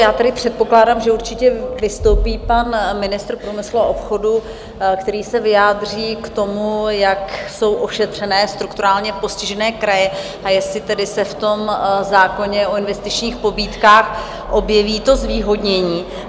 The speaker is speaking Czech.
Já tedy předpokládám, že určitě vystoupí pan ministr průmyslu a obchodu, který se vyjádří k tomu, jak jsou ošetřené strukturálně postižené kraje, a jestli se tedy v tom zákoně o investičních pobídkách objeví to zvýhodnění.